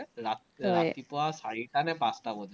ৰাত ৰাতি চাৰিটানে পাঁচটা বজাত